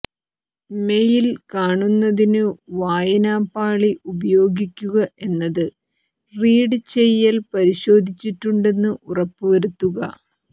mail കാണുന്നതിന് വായനാ പാളി ഉപയോഗിക്കുക എന്നത് റീഡ് ചെയ്യൽ പരിശോധിച്ചിട്ടുണ്ടെന്ന് ഉറപ്പുവരുത്തുക